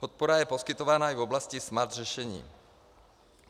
Podpora je poskytována i v oblasti smart řešení.